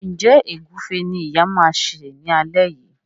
Njé Egufe ní ìyá ma ṣe ní alé yí?